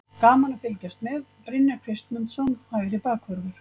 Gaman að fylgjast með: Brynjar Kristmundsson, hægri bakvörður.